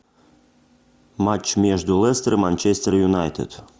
матч между лестер и манчестер юнайтед